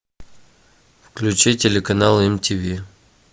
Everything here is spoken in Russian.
включи телеканал мтв